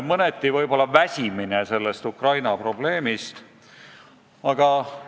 Mõneti võib-olla ollakse sellest Ukraina probleemist väsinud.